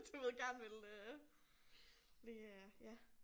Du ved gerne ville øh lige øh ja